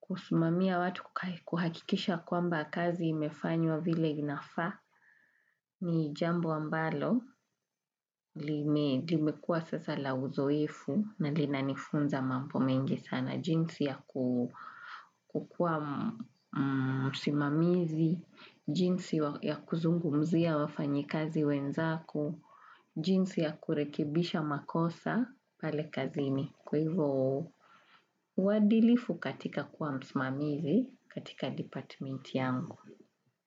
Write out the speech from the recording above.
kusumamia watu, kuhakikisha kwamba kazi imefanywa vile inafa, ni jambo ambalo, limekua sasa la uzoifu, na lina nifunza mambo mengi sana, jinsi ya kukua simamizi, jinsi ya kuzungu mzia wafanyi kazi wenzako, jinsi ya kurekibisha makosa pale kazini. Kwa hivyo, wadilifu katika kuwa msimamizi katika department yangu.